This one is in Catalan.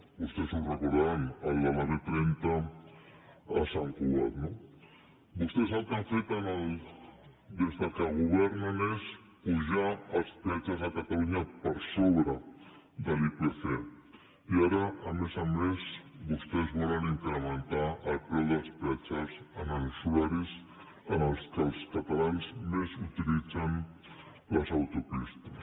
vostès ho deuen recordar el de la b trenta a sant cugat no vostès el que han fet des que governen és apujar els peatges de catalunya per sobre de l’ipc i ara a més a més vostès volen incrementar el preu dels peatges en els horaris en què els catalans més utilitzen les autopistes